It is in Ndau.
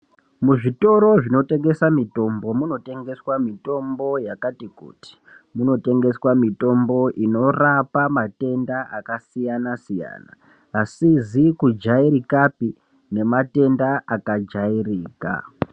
Muzvitoro zvinotengesa mitombo mutengeswa mitombo yakati kuti. Munotengeswa mutombo inorape matenda akasiyana siyana asizi kujairikapi nematenda akajairika.